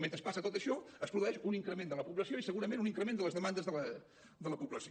mentre passa tot això es produeix un increment de la població i segurament un increment de les demandes de la població